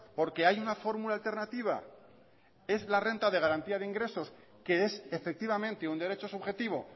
porque hay una fórmula alternativa es la renta de garantía de ingresos que es efectivamente un derecho subjetivo